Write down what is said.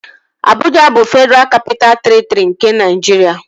Abụja bụ Fedraa Kapitaa Terịtri nke Naịjiria